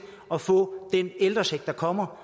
at få den ældrecheck der kommer